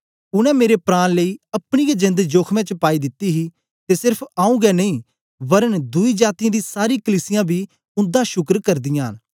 उनै मेरे प्राण लेई अपनी गै जेंद जोखमें च पाई दिती ही ते सेर्फ आऊँ गै नेई वरन दुई जातीयें दी सारी कलीसियां बी उन्दा शुक्र करदीयां न